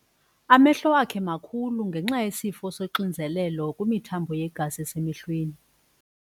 Amehlo akhe makhulu ngenxa yesifo soxinzelelo kwimithambo yegazi esemehlweni.